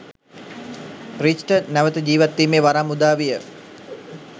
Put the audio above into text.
රීච්ට නැවත ජීවත්වීමේ වරම් උදාවිය